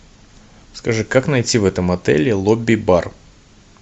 скажи как найти в этом отеле лобби бар